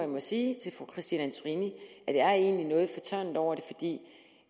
må sige til fru christine antorini at jeg egentlig er noget fortørnet over det